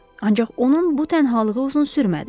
Ancaq onun bu tənhalığı uzun sürmədi.